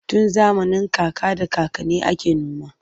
Tun zamanin kaka da kakanni ake noma.